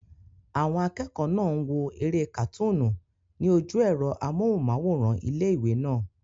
Àwọn akẹ́kọ̀ọ́ náà n wo eré kàtúnú ní ojú ẹ̀rọ amóhùnmáwòrán ilé-ìwé náà